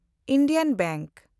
Indian bank